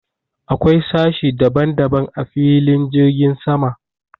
Akwai sashe daban daban a filin jirgin sama.